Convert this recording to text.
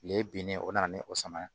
Kile binnen o nana ni o sama ye